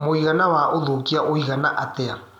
mũigana wa ũthũkia wĩigana atĩa